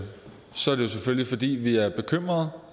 selvfølgelig fordi vi er bekymret